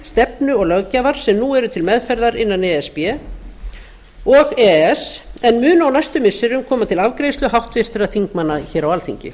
stefnu og löggjafar sem nú eru til meðferðar innan e s b og e e s en mun á næstu missirum koma til afgreiðslu háttvirtra þingmanna á alþingi